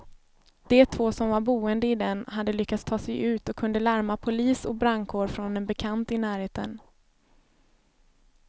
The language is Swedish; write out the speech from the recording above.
De två som var boende i den hade lyckats ta sig ut och kunde larma polis och brandkår från en bekant i närheten.